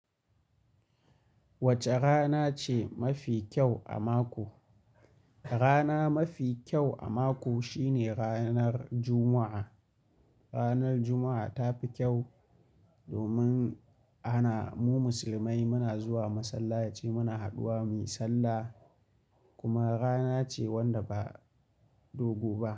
Wace rana ce mafi kyau a mako? Rana mafi kyau a mako shine ranar Juma'a. Ranar Juma'a ta fi kyau, domin ana mu musulmai muna zuwa masallaci, muna haduwa mu yi sallah kuma rana ce wanda ba dogo ba.